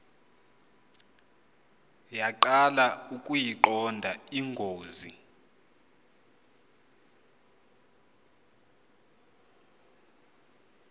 yaqala ukuyiqonda ingozi